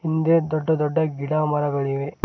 ಹಿಂದೆ ದೊಡ್ಡ ದೊಡ್ಡ ಗಿಡ ಮರಗಳಿವೆ.